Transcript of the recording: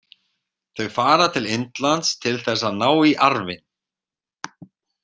Þau fara til Indlands til þess að ná í arfinn.